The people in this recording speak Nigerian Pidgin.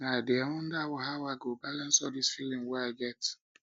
um i dey wonder how i go balance all dis feelings wey um i get